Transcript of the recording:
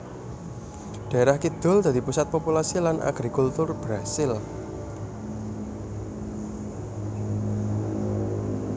Daerah kidul dadi pusat populasi lan agrikultur Brasil